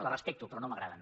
les respecto però no m’agraden